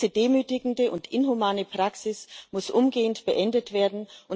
Diese demütigende und inhumane Praxis muss umgehend beendet werden.